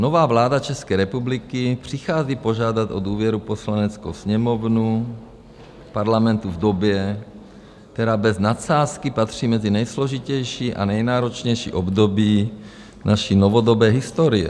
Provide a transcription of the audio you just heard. Nová vláda České republiky přichází požádat o důvěru Poslaneckou sněmovnu Parlamentu v době, která bez nadsázky patří mezi nejsložitější a nejnáročnější období naší novodobé historie.